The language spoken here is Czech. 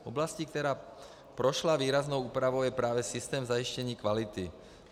Oblastí, která prošla výraznou úpravou, je právě systém zajištění kvality.